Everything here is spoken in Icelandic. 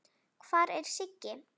Hvar er Siggi?